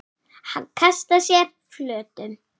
Hann kastar sér flötum.